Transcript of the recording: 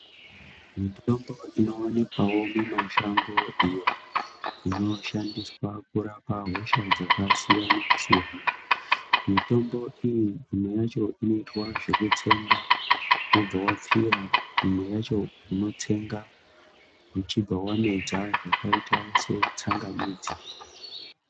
Mitombo inowanikwawo mimashango iyo inonoshandiswa kurapa hosha dzakasiyana siyana, mitombo iyi imwe yacho inoitwa zvekutsenga obva wapfira imweyacho, unotsenga uchibva wamedza zvakaita setsangamidzi.